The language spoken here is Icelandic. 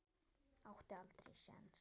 Átti aldrei sjens.